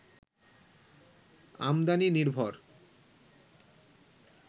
আমদানি নির্ভর